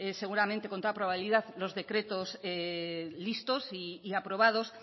seguramente con toda probabilidad los decretos listos y aprobados